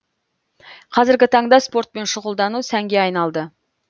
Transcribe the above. қазіргі таңда спортпен щұғылдану сәнге айналды